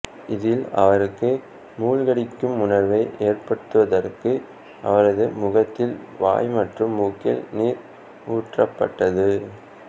இதில் அவருக்கு மூழ்கடிக்கும் உணர்வை ஏற்படுத்துவதற்கு அவரது முகத்தில் வாய் மற்றும் மூக்கில் நீர் ஊற்றப்பட்டது